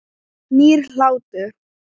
Nýr hlátur.